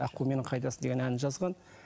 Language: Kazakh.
аққуым менің қайдасың деген әнін жазған